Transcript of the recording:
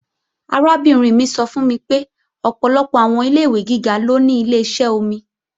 Arábìnrin mi sọ fún mi pé ọ̀pọ̀lọpọ̀ àwọn ilé-ìwé gíga ló ní Ileṣẹ́ omi